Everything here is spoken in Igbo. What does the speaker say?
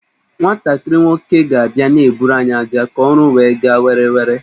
Nwantakịrị nwoke ga abia na-eburu anyị ájá ka ọrụ wee gaa were were